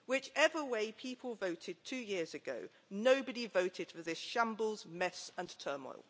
Whichever way people voted two years ago, nobody voted for this shambles, mess and turmoil.